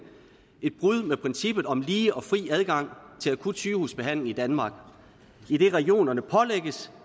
et brud med princippet om lige og fri adgang til akut sygehusbehandling i danmark idet regionerne pålægges